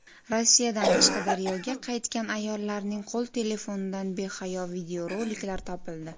Rossiyadan Qashqadaryoga qaytgan ayollarning qo‘l telefonidan behayo videoroliklar topildi.